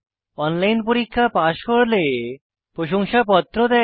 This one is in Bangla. অনলাইন পরীক্ষা পাস করলে প্রশংসাপত্র দেয়